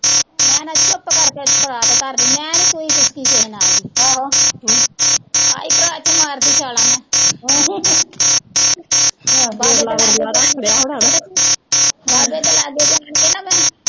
ਮੈਂ ਨਾ ਚੁੱਪ ਕਰਕੇ ਪਰਾਤ ਧਰਲੀ, ਮੈਂ ਨੀਂ ਕੋਈ ਕੁਸਕੀ ਕਿਸੇ ਨਾਲ ਵੀ ਆਈ ਪਰਾਤ ਚ ਮਾਰਦੀ ਛਾਲਾਂ ਮੈਂ ਬਾਬੇ ਦੇ ਲਾਗੇ ਪਹੁੰਚ ਕੇ ਨਾ ਮੈਂ